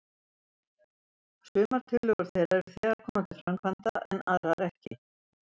Sumar tillögur þeirra eru þegar komnar til framkvæmda, en aðrar ekki.